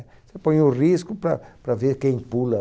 Você põe o risco para para ver quem pula.